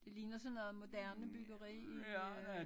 Det ligner sådan noget moderne byggeri øh